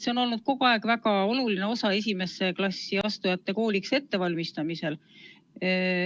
See on kogu aeg olnud väga oluline tugi esimesse klassi astujate kooliks ettevalmistamisel.